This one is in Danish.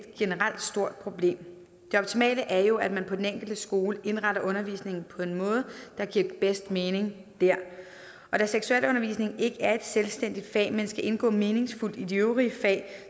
stort problem det optimale er jo at man på den enkelte skole indretter undervisningen på en måde der giver bedst mening der og da seksualundervisning ikke er et selvstændigt fag men skal indgå meningsfuldt i de øvrige fag